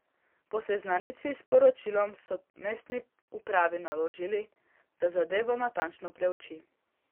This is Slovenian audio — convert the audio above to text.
Po seznanitvi s poročilom so mestni upravi naložili, da zadevo natančno preuči.